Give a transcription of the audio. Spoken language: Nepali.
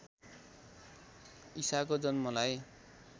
ईसाको जन्मलाई